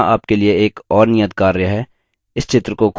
यहाँ आपके लिए एक और नियतकार्य है